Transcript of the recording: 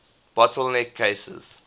bottle neck cases